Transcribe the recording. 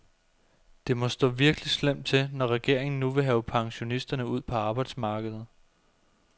Det må stå virkelig slemt til, når regeringen nu vil have pensionisterne ud på arbejdsmarkedet.